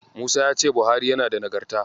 Musa ya ce Buhari yana da Nagarta.